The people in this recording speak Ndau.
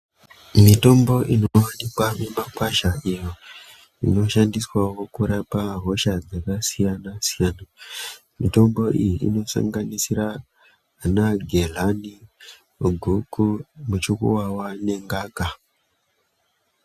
Mitombo inowanikwa mumakwasha, iyo inoshandiswawo kurapa hosha dzakasiyana-siyana. Mitombo iyi inosanganisira ana gedhlani, guku, muchukuwawa nengaka.